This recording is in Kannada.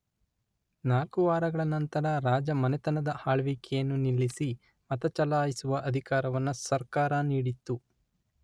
ನಾಲ್ಕು ವಾರಗಳ ನಂತರ ರಾಜ ಮನೆತನದ ಆಳ್ವಿಕೆಯನ್ನು ನಿಲ್ಲಿಸಿ ಮತಚಲಾಯಿಸುವ ಅಧಿಕಾರವನ್ನ ಸರ್ಕಾರ ನೀಡಿತು.